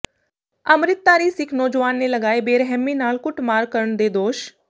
ਅੰਮਿ੍ਤਧਾਰੀ ਸਿੱਖ ਨੌਜਵਾਨ ਨੇ ਲਗਾਏ ਬੇਰਹਿਮੀ ਨਾਲ ਕੁੱਟਮਾਰ ਕਰਨ ਦੇ ਦੋਸ਼